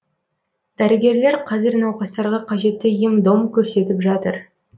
дәрігерлер қазір науқастарға қажетті ем дом көрсетіп жатыр